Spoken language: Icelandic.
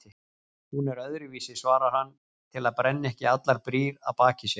Hún er öðruvísi, svarar hann til að brenna ekki allar brýr að baki sér.